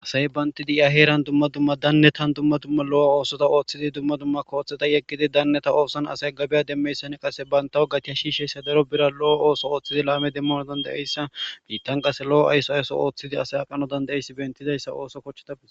Asay banti di'a heeran dumma dumma dannetan dumma dumma lo'o oosota ooththidi dumma dumma kooththeta yeggidi daanneta oosan asay gabiya demmeyssan qase bayntaw gatiha shiisheyssa daro bira lo7o ooso ooththidi laame demmano dandayeyssa biittan qase lo7o ayso ayso ooththidi asay aqano dandayeyssi bentidayssa ooso kochcheta.